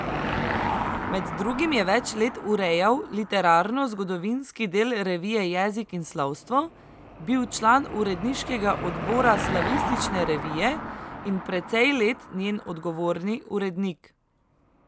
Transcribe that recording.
Med drugim je več let urejal literarnozgodovinski del revije Jezik in slovstvo, bil član uredniškega odbora Slavistične revije in precej let njen odgovorni urednik.